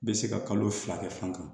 Bɛ se ka kalo fila kɛ fankelen